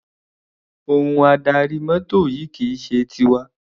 Ohun adarí mọ́tò yìí kì í ṣe tiwa.